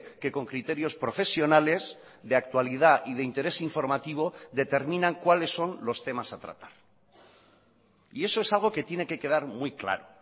que con criterios profesionales de actualidad y de interés informativo determinan cuáles son los temas a tratar y eso es algo que tiene que quedar muy claro